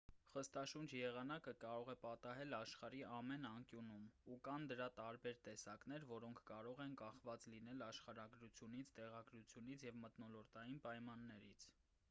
խստաշունչ եղանակը կարող է պատահել աշխարհի ամեն անկյունում ու կան դրա տարբեր տեսակներ որոնք կարող են կախված լինել աշխարհագրությունից տեղագրությունից և մթնոլորտային պայմաններից